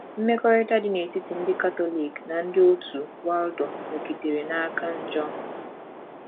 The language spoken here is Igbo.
Mmekọrịta dị n’etiti ndị Katọlik na ndị òtù Waldo nọgidere na - aka njọ.